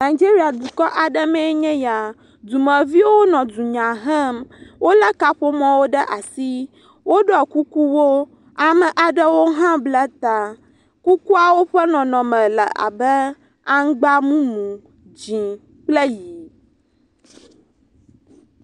Nigeria dukɔ aɖe mee nye ya, dumeviwo nɔ dunya hem, wolé kaƒomɔwo ɖe asi, woɖɔ kukuwo, ame aɖewo hã bla ta. Kukuawo ƒe nɔnɔme le abe aŋgba mumu, dzĩ kple ʋi.